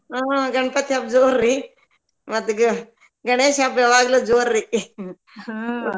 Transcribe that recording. ಹ್ಮ್‌ ಗಣಪತಿ ಹಬ್ಬ ಜೋರ್ರಿ ಮತ್ತ ಗ~ ಗಣೇಶ ಹಬ್ಬ ಯಾವಾಗ್ಲು ಜೋರ್ರಿ .